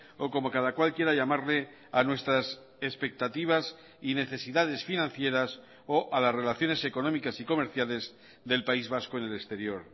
o como cada cual quiera llamarle a nuestras expectativas y necesidades financieras o a las relaciones económicas y comerciales del país vasco en el exterior